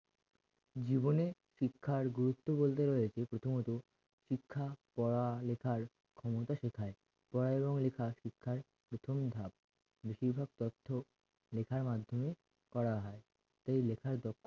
জীবনের শিক্ষার গুরুত্ব বলতে গেলে যে প্রথমত শিক্ষা পড়ালেখার ক্ষমতা শেখায় পড়া এবং লেখা শিক্ষার প্রথম ভাগ বেশিরভাগ তথ্য লেখার মাধ্যমে করা হয় সেই লেখার দক্ষ